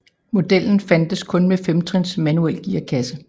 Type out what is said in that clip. Modellen fandtes kun med femtrins manuel gearkasse